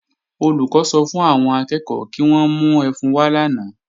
Olùkọ́ sọ fún àwọn akẹ́ẹ̀kọ́ kí wọ́n mú ẹfun wá lánàá